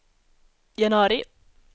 januari